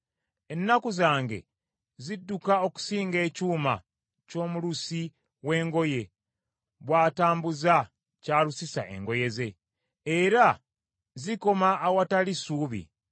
“Ennaku zange zidduka okusinga ekyuma ky’omulusi w’engoye bw’atambuza ky’alusisa engoye ze; era zikoma awatali ssuubi.